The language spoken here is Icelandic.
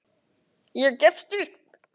Ég gefst upp